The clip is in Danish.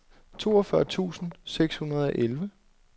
toogfyrre tusind seks hundrede og elleve